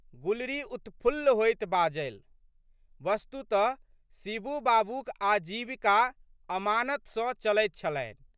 गुलरी उत्फुल्ल होइत बाजलि। वस्तुतः शिबू बाबूक आजीविका अमानत सँ चलैत छलनि।